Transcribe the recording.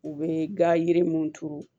U bɛ ga yiri mun turu